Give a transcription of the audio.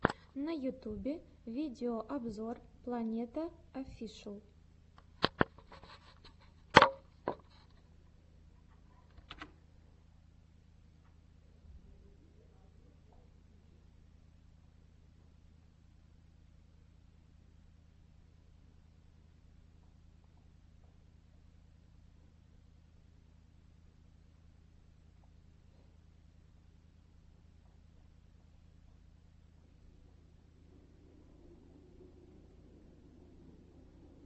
на ютюбе видеообзор планета оффишл